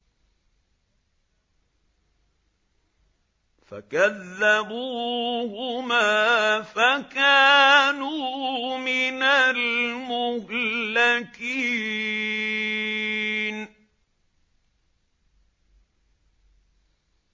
فَكَذَّبُوهُمَا فَكَانُوا مِنَ الْمُهْلَكِينَ